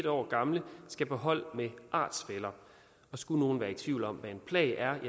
år gamle skal på hold med artsfæller og skulle nogen være i tvivl om hvad en plag er